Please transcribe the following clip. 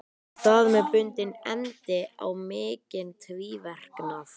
Þar með bundinn endi á mikinn tvíverknað.